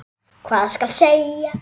Hvað skal segja?